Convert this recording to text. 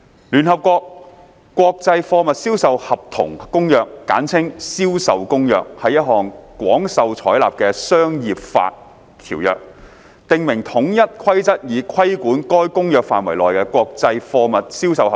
《聯合國國際貨物銷售合同公約》是一項廣受採納的商業法條約，訂明統一規則以規管該公約範圍內的國際貨物銷售合同。